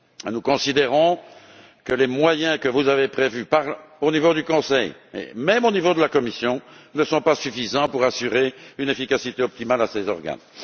Nous considérons que les moyens que vous avez prévus au niveau du Conseil et même au niveau de la Commission ne sont pas suffisants pour assurer une efficacité optimale à ces organes.